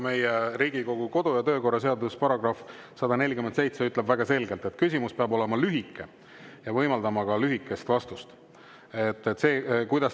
Riigikogu kodu‑ ja töökorra seaduse § 147 ütleb väga selgelt, et küsimus peab olema lühike ja võimaldama ka lühikest vastust.